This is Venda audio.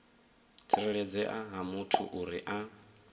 tsireledzea ha muthu uri a